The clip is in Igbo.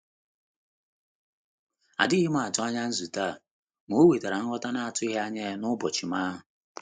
Adighị m atụ anya nzute ah, ma o wetara nghọta na-atụghị anya ya n'ụbọchị m ahu.